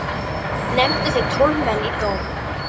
Nefndu þeir tólf menn í dóm.